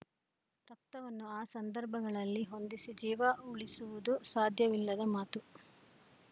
ರಕ್ತವನ್ನು ಆ ಸಂದರ್ಭಗಳಲ್ಲಿ ಹೊಂದಿಸಿ ಜೀವ ಊಳಿಸುವುದು ಸಾಧ್ಯವಿಲ್ಲದ ಮಾತು